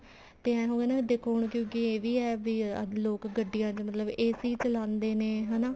ਤੇ ਏਵੇਂ ਹੋਗਿਆ ਨਾ ਦੇਖੋ ਹੁਣ ਇਹ ਵੀ ਹੈ ਮਤਲਬ ਲੋਕ ਗੱਡੀਆਂ ਚ ਮਤਲਬ AC ਚਲਾਉਂਦੇ ਨੇ ਹਨਾ